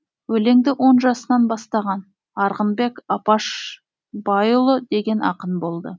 өлеңді он жасынан бастаған арғынбек апашбайұлы деген ақын болды